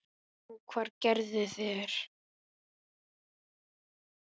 GRÍMUR: Nú, hvað gerðu þeir?